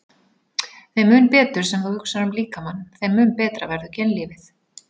Þeim mun betur sem þú hugsar um líkamann, þeim mun betra verður kynlífið.